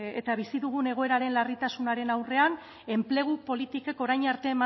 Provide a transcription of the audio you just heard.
eta bizi dugun egoeraren larritasunaren aurrean enplegu politikek orain arte